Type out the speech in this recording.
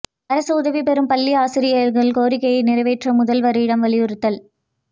அரசு உதவிப் பெறும் பள்ளி ஆசிரியா்கள் கோரிக்கையை நிறைவேற்ற முதல்வரிடம் வலியுறுத்தல்